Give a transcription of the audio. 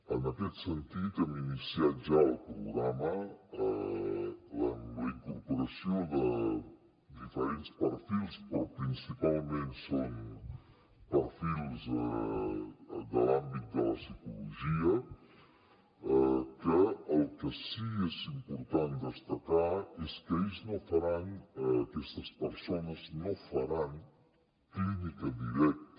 en aquest sentit hem iniciat ja el programa amb la incorporació de diferents perfils però principalment són perfils de l’àmbit de la psicologia que el que sí que és important destacar és que aquestes persones no faran clínica directa